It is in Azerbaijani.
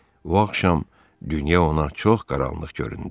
Bu axşam dünya ona çox qaranlıq göründü.